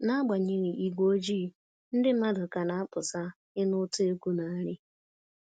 Nagbanyeghị igwe ojii, ndị mmadụ ka na-apụta ịnụ ụtọ egwu na nri